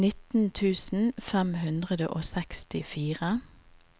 nitten tusen fem hundre og sekstifire